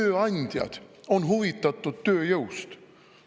"Tööandjad on huvitatud tööjõust.